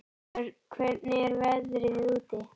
Björn, hvernig er veðrið úti?